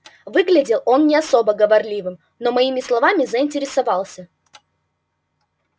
выглядел он не особо говорливым но моими словами заинтересовался